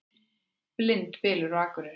Blindbylur á Akureyri